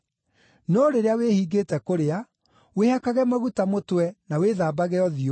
No rĩrĩa wĩhingĩte kũrĩa, wĩhakage maguta mũtwe na wĩthambage ũthiũ,